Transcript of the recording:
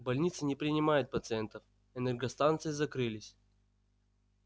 больницы не принимают пациентов энергостанции закрылись